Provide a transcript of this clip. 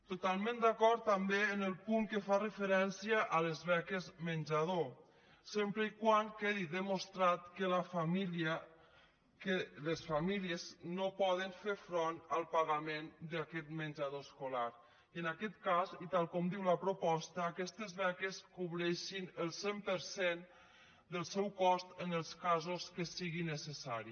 totalment d’acord també en el punt que fa referència a les beques menjador sempre que quedi demostrat que les famílies no poden fer front al pagament d’aquest menjador escolar i en aquest cas i tal com diu la proposta aquestes beques cobreixin el cent per cent del seu cost en els casos que sigui necessari